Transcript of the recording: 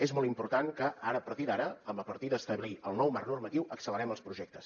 és molt important que a partir d’ara a partir d’establir el nou marc normatiu acce lerem els projectes